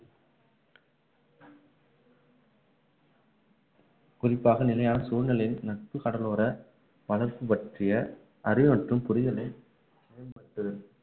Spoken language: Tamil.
குறிப்பாக நிலையான சூழ்நிலையில் நட்பு கடலோர வளர்ச்சி பற்றிய அறிவு மற்றும் புரிதலை